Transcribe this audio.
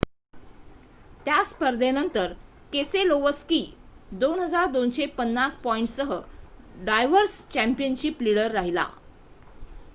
त्या स्पर्धेनंतर केसेलोवस्की 2,250 पॉईंटसह ड्रायवर्स चँपियनशिप लिडर राहिला